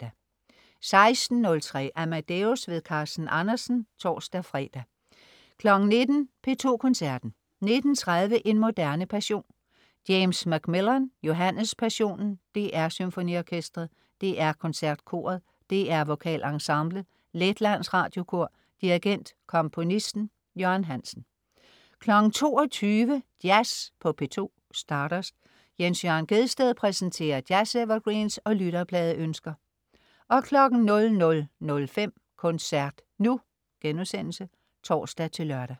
16.03 Amadeus. Carsten Andersen (tors-fre) 19.00 P2 Koncerten. 19.30 En moderne passion. James MacMillan: Johannes Passionen. DR SymfoniOrkestret. DR KoncertKoret. DR VokalEnsemblet. Letlands Radiokor. Dirigent: Komponisten. Jørgen Hansen. 22.00 Jazz på P2. Stardust. Jens Jørn Gjedsted præsenterer jazz-evergreens og lytterpladeønsker 00.05 Koncert nu* (tors-lør)